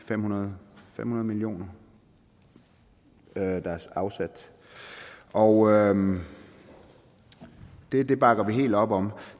fem hundrede million kr der er afsat og det det bakker vi helt op om